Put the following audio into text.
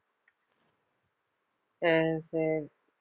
சரி சரி